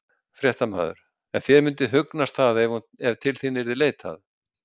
Fréttamaður: En þér myndi hugnast það ef að til þín yrði leitað?